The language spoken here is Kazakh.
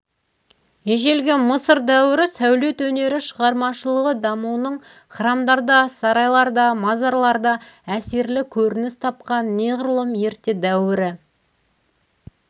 ежелгі мысыр дәуірі сәулет өнері шығармашылығы дамуының храмдарда сарайларда мазарларда әсерлі көрініс тапқан неғұрлым ерте дәуірі